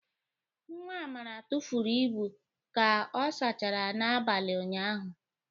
Nwa Amara tụfuru ibu ka ọ sachara n'abalị ụnyaahụ.